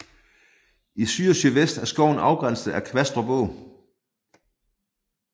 I syd og sydvest er skoven afgrænset af Kvastrup Å